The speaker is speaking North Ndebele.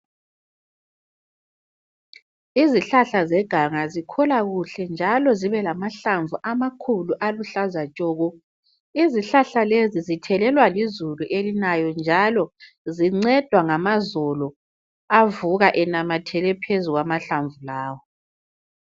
Izihlahla zeganga zikhula kuhle njalo zibe lamahlamvu amakhulu aluhlaza tshoko izihlahla lezi zithelelwa lizulu elinayo njalo zincedwa ngamazolo avuka enamathele phezu kwamahlamvu lawa.